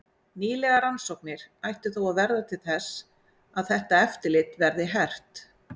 Nýlegar rannsóknir ættu þó að verða til þess að þetta eftirlit verði hert.